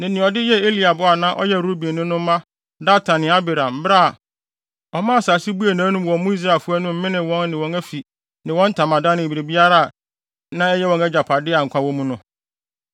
ne nea ɔde yɛɛ Eliab a na ɔyɛ Rubenni no mma Datan ne Abiram bere a ɔmma asase buee nʼanom wɔ mo Israelfo no anim menee wɔn ne wɔn afi ne wɔn ntamadan ne biribiara a na ɛyɛ wɔn agyapade a nkwa wɔ mu no.